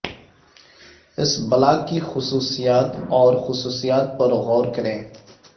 اس block کی خصوصیات اور خصوصیات پر غور کریں